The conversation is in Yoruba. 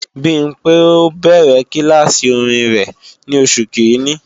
Bimpé ó bẹ̀rẹ̀ kílàsì orin rẹ̀ ní Oṣù Kiìíní